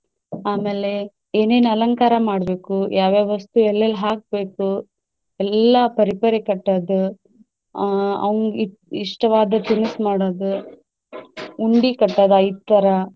ಆಮ್ಯಾಲೆ ಏನೇನ ಅಲಂಕಾರ ಮಾಡ್ಬೇಕು, ಯಾವ ಯಾವ ವಸ್ತು ಎಲ್ಲೆಲ್ಲಿ ಹಾಕ್ಬೇಕು ಎಲ್ಲಾ ಪರಿಪರಿ ಕಟ್ಟೋದು ಆಹ್ ಅವಂಗ ಇ~ ಇಷ್ಟವಾದ ತಿನಸ್ ಮಾಡೋದು ಉಂಡಿ ಕಟ್ಟೊದ ಐದ್ ತರಾ.